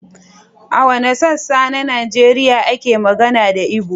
A wanne sassa na Najeriya ake magana da Ibo?